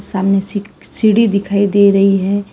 सामने सी सीढ़ी दिखाई दे रही है।